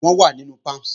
Wọ́n wà nínú Palms